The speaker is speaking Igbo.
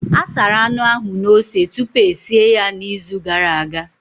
A sara anụ ahụ na ose tupu e sie ya n'izu gara aga.